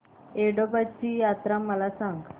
येडोबाची यात्रा मला सांग